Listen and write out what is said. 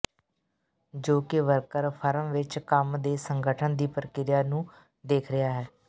ਜੋ ਕਿ worker firm ਵਿੱਚ ਕੰਮ ਦੇ ਸੰਗਠਨ ਦੀ ਪ੍ਰਕਿਰਿਆ ਨੂੰ ਦੇਖ ਰਿਹਾ ਹੈ